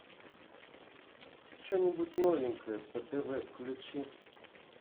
что нибудь новенькое по тв включи